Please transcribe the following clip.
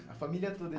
A família toda?